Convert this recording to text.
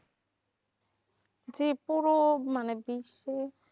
জি পুরো মানে বিশ্বের